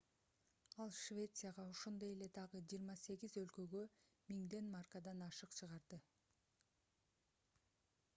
ал швецияга ошондой эле дагы 28 өлкөгө 1000 маркадан ашык чыгарды